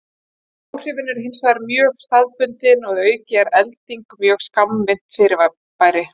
Áhrifin eru hins vegar mjög staðbundin og að auki er elding mjög skammvinnt fyrirbæri.